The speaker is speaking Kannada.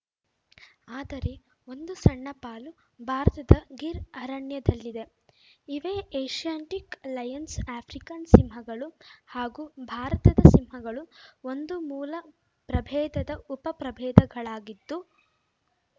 ಆದರೆ ಒಂದು ಸಣ್ಣ ಪಾಲು ಭಾರತದ ಗಿರ್‌ ಅರಣ್ಯದಲ್ಲಿದೆ ಇವೇ ಏಷ್ಯಾಟಿಕ್‌ ಲಯನ್ಸ್‌ ಆಫ್ರಿಕನ್‌ ಸಿಂಹಗಳು ಹಾಗೂ ಭಾರತದ ಸಿಂಹಗಳು ಒಂದು ಮೂಲ ಪ್ರಭೇದದ ಉಪ ಪ್ರಭೇದಗಳಾಗಿದ್ದು